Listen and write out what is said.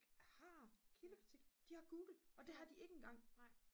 har kildekritik de har google og det har de ikke engang